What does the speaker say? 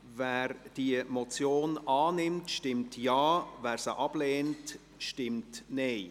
Wer die Motion annimmt, stimmt Ja, wer diese ablehnt, stimmt Nein.